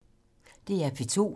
DR P2